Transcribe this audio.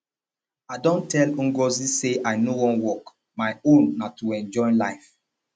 i don tell ngozi say i no wan work my own na to enjoy life